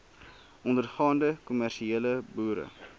ondergaande kommersiële boere